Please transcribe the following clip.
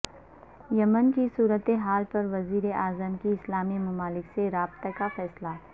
یمن کی صورت حال پر وزیراعظم کا اسلامی ممالک سے رابطے کا فیصلہ